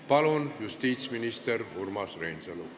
Palun, justiitsminister Urmas Reinsalu!